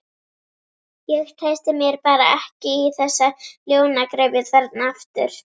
Ég treysti mér bara ekki í þessa ljónagryfju þarna aftur.